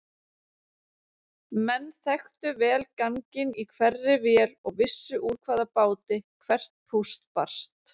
Menn þekktu vel ganginn í hverri vél og vissu úr hvaða báti hvert púst barst.